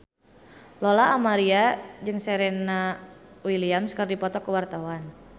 Lola Amaria jeung Serena Williams keur dipoto ku wartawan